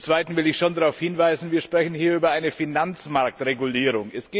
Zum Zweiten will ich schon darauf hinweisen Wir sprechen hier über eine Finanzmarktregulierung.